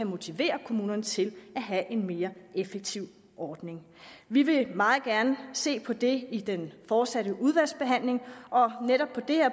motivere kommunerne til at have en mere effektiv ordning vi vil meget gerne se på det i den fortsatte udvalgsbehandling og netop på det